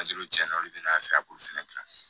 cɛn na olu de bina se ka b'olu fɛnɛ la